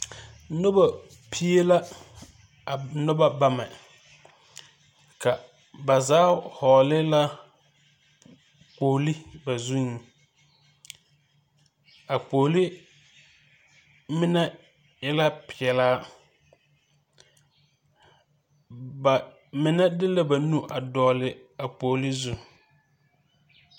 Nuba pie la a nuna beme ka ba zaa vɔgli la kpogli ba zun a kpogli mene e la pelaa ba mene de la ba nu a vɔgli a kpogli zu.